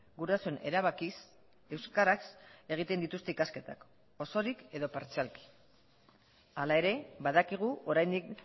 gurasoen erabakiz euskaraz egiten dituzte ikasketak osorik edo partzialki hala ere badakigu oraindik